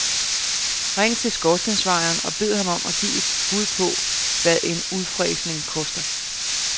Ring til skorstensfejeren og bed ham om at give et bud på, hvad en udfræsning koster.